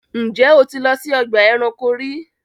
Ǹjẹ́ o ti lọ sí ọgba ẹ̀ránkò rí?